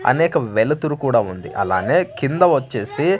అనేక వెలుతురు కూడా ఉంది అలానే కింద వచ్చేసి.